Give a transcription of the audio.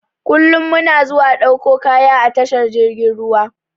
Kullum muna zuwa ɗauko kaya a tashar jirgin ruwa.